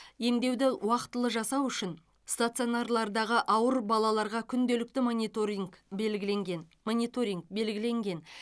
емдеуді уақтылы жасау үшін стационарлардағы ауыр балаларға күнделікті мониторинг белгіленген мониторинг белгіленген